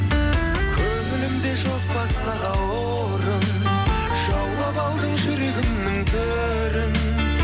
көңілімде жоқ басқаға орын жаулап алдың жүрегімнің төрін